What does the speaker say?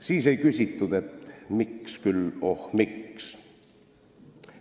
Siis ei küsitud: miks küll, oh, miks?